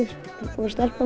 og stelpan